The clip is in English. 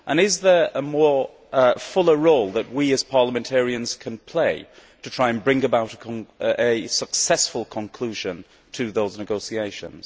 Is there a fuller role that we, as parliamentarians, can play to try and bring about a successful conclusion to those negotiations?